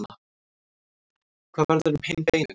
hvað verður um hin beinin